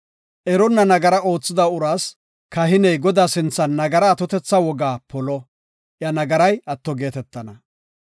Eronna nagara oothida uraas kahiney Godaa sinthan nagara atotetha wogaa polo; iya nagaray atto geetetana.